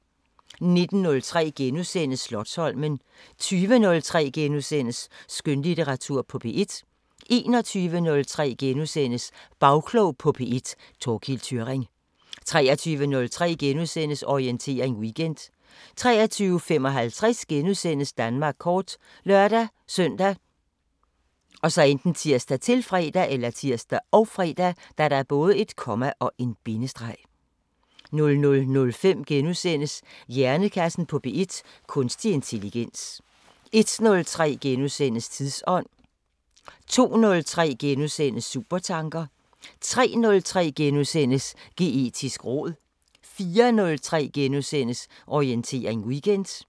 19:03: Slotsholmen * 20:03: Skønlitteratur på P1 * 21:03: Bagklog på P1: Thorkild Thyrring * 23:03: Orientering Weekend * 23:55: Danmark kort *( lør-søn, tir, -fre) 00:05: Hjernekassen på P1: Kunstig intelligens * 01:03: Tidsånd * 02:03: Supertanker * 03:03: Geetisk råd * 04:03: Orientering Weekend *